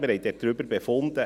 Wir haben darüber befunden.